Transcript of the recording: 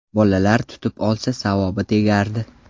Bolalar tutib olsa, savobi tegardi.